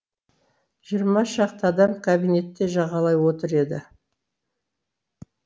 жиырма шақты адам кабинетте жағалай отыр еді